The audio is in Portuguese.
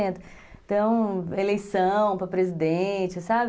Então, eleição para presidente, sabe?